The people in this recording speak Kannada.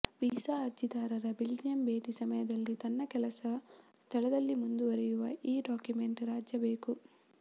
ವೀಸಾ ಅರ್ಜಿದಾರ ಬೆಲ್ಜಿಯಂ ಭೇಟಿ ಸಮಯದಲ್ಲಿ ತನ್ನ ಕೆಲಸ ಸ್ಥಳದಲ್ಲಿ ಮುಂದುವರೆಯುವ ಈ ಡಾಕ್ಯುಮೆಂಟ್ ರಾಜ್ಯ ಬೇಕು